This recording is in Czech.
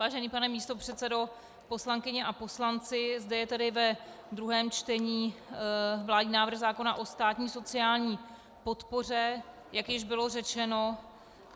Vážený pane místopředsedo, poslankyně a poslanci, zde je tedy ve druhém čtení vládní návrh zákona o státní sociální podpoře, jak již bylo řečeno.